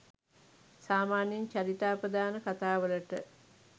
සාමාන්‍යයෙන් චරිතාපදාන කතා වලට